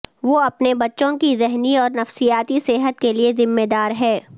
وہ اپنے بچوں کی ذہنی اور نفسیاتی صحت کے لئے ذمہ دار ہے